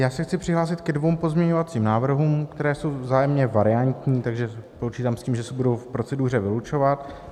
Já se chci přihlásit ke dvěma pozměňovacím návrhům, které jsou vzájemně variantní, takže počítám s tím, že se budou v proceduře vylučovat.